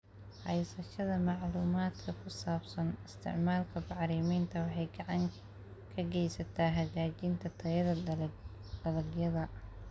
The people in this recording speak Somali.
Haysashada macluumaadka ku saabsan isticmaalka bacriminta waxay gacan ka geysataa hagaajinta tayada dalagyada.